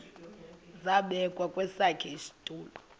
zabekwa kwesakhe isitulo